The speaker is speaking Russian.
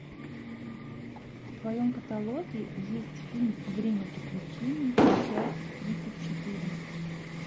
в твоем каталоге есть фильм время приключений часть тридцать четыре